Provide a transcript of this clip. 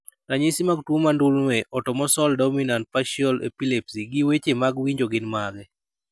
Ranyisi mag tuwo mar ndulme Autosomal dominant partial epilepsy gi weche mag winjo gin mage?